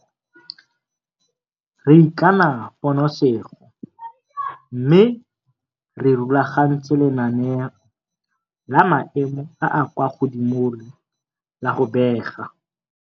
Re ikana ponosego mme re rulagantse lenaneo la maemo a a kwa godimole la go bega.